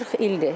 40 ildir.